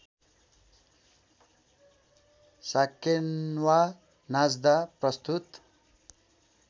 साकेन्वा नाच्दा प्रस्तुत